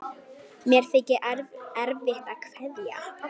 Mér þykir erfitt að kveðja.